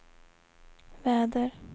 väder